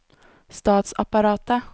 statsapparatet